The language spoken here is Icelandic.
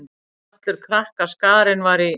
Allur krakkaskarinn var í